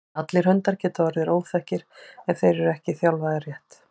allir hundar geta orðið óþekkir ef þeir eru ekki þjálfaðir rétt